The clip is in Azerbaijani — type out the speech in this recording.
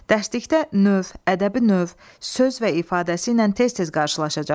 Dərslikdə növ, ədəbi növ, söz və ifadəsi ilə tez-tez qarşılaşacaqsınız.